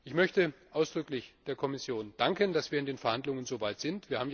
Ich möchte ausdrücklich der Kommission danken, dass wir in den Verhandlungen so weit sind.